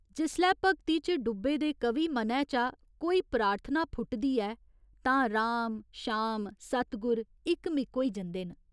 जिसलै भगती च डुब्बे दे कवि मनै चा कोई प्रार्थना फुटदी ऐ तां राम, शाम, सतगुर इक्क मिक होई जंदे न।